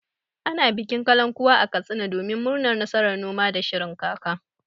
Ana bikin kalankuwa a Katsina domin murnar nasarar noma da shirin kaka.